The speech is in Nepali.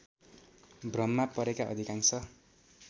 भ्रममा परेका अधिकांश